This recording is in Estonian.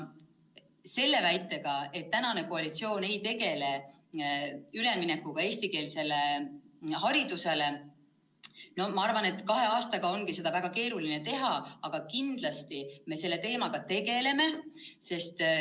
See väide, et praegune koalitsioon ei tegele üleminekuga eestikeelsele haridusele – no ma arvan, et kahe aastaga ongi seda väga keeruline teha, aga kindlasti me selle teemaga tegeleme.